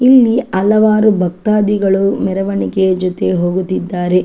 ಇಲ್ಲಿ ಹಲವಾರು ಭಕ್ತಾದಿಗಳು ಮೆರವಣಿಗೆಯ ಜೊತೆ ಹೋಗುತ್ತಿದ್ದಾರೆ.